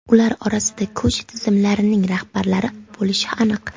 Ular orasida kuch tizimlarining rahbarlari bo‘lishi aniq.